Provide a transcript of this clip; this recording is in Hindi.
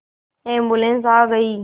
एम्बुलेन्स आ गई